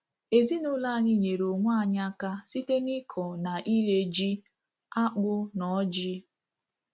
Ezinụlọ anyị nyeere onwe anyị aka site n’ịkọ na ire ji, akpụ, na ọjị́.